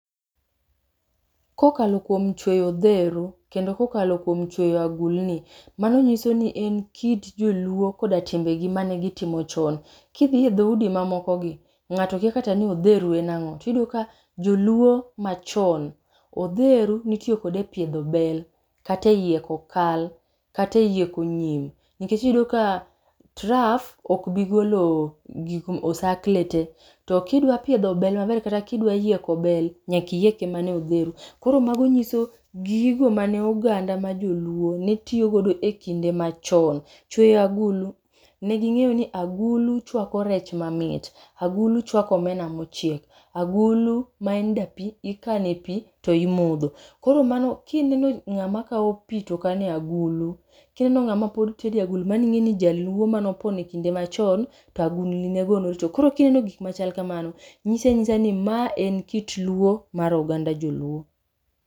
Kokalo kuom chueyo odhero, kendo kokalo kuom chueyo agulni, mano nyiso ni en kit joluo koda timbegi mane gitimo chon. Kidhi edho udi mamoko gi, ng'ato kia kata ni odheru en ang'o. Tiyudo ka joluo machon, odheru nitiyo kode e piedho bel, kateyieko kal, kateyieko nyim. Nikech iyudo ka traf okbigolo osakle te, to kidwa piedho bel maber kata kidwayieko bel, nyakiyieke mane odheru. Koro mago nyiso gigo mane oganda ma joluo ne tiyogodo e kinde machon. Chweyo agulu: ne ging'eyo ni agulu chwako rech mamit, agulu chwako omena mochiek. Agulu, maen dapi, ikane pi to imodho. Koro mano kineno ng'ama kawo pi to kano e agulu, kineno ng'ama pod tede agulu maning'e ni jaluo manopon e kind machon to agulni ne go norito. Koro kineno gikmachal kamano, nyisi anyisa ni ma en kit luo mar oganda joluo.